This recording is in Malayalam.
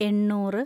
എണ്ണൂറ്